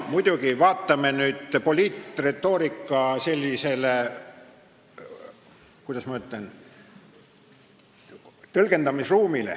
Muidugi, vaatame nüüd poliitretoorika sellist, kuidas ma ütlen, tõlgendamisruumi.